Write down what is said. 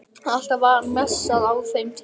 Alltaf var messað á þeim tíma